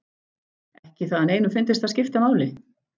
Ekki það að neinum fyndist það skipta máli.